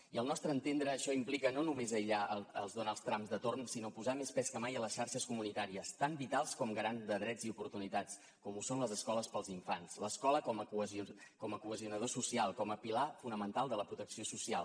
i al nostre entendre això implica no només aïllar els donalds trumps de torn sinó posar més pes que mai a les xarxes comunitàries tan vitals com garants de drets i oportunitats com ho són les escoles per als infants l’escola com a cohesionador social com a pilar fonamental de la protecció social